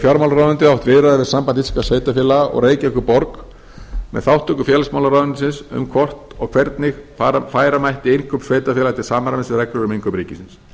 fjármálaráðuneytið átt viðræður við samband íslenskra sveitarfélaga og reykjavíkurborg með þátttöku félagsmálaráðuneytisins um hvort og hvernig færa mætti innkaup sveitarfélaga til samræmis við reglur um innkaup ríkisins